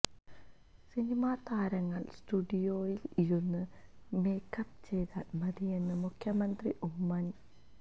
cinema താരങ്ങള് സ്റ്റുഡിയോയില് ഇരുന്ന് മേക്കപ്പ് ചെയ്താല് മതിയെന്ന് മുഖ്യമന്ത്രി ഉമ്മന്